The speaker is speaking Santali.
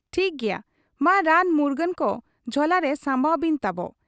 ᱴᱷᱤᱠ ᱜᱮᱭᱟ ᱾ ᱢᱟ ᱨᱟᱱ ᱢᱩᱨᱜᱟᱹᱱ ᱠᱚ ᱡᱷᱚᱞᱟᱨᱮ ᱥᱟᱢᱵᱟᱣ ᱵᱤᱱ ᱛᱟᱵᱚ ᱾